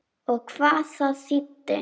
Og hvað það þýddi.